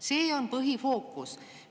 Sellel on põhifookus.